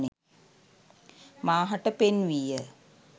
මා හට පෙන්වීය